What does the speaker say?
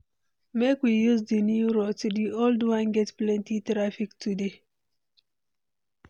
Make we use di new route; di old one get plenty traffic today.